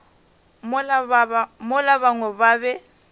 mola ba bangwe ba be